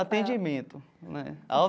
Atendimento né ao.